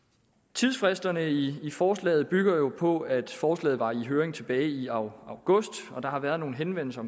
tidsfristerne i forslaget bygger jo på at forslaget var i høring tilbage i august og der har været nogle henvendelser